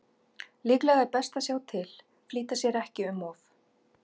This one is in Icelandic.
Líklega er best að sjá til, flýta sér ekki um of.